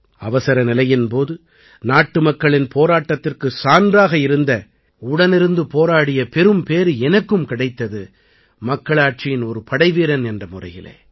அவசரநிலையின் போது நாட்டுமக்களின் போராட்டத்திற்குச் சான்றாக இருந்த உடனிருந்து போராடிய பெரும் பேறு எனக்கும் கிடைத்தது மக்களாட்சியின் ஒரு படைவீரன் என்ற முறையிலே